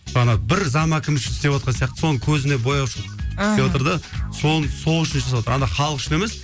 ана бір зам әкім үшін істеватқан сияқты соның көзіне бояушылық мхм істеватыр да соны сол үшін істеватыр ана халық үшін емес